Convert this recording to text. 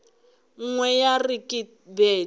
nngwe ya re ke bete